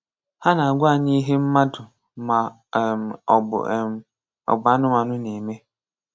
Ha na-àgwá anyị ihe mmadụ ma um ọ bụ um ọ bụ anụmanụ na-eme.